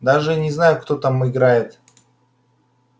даже не знаю кто там играет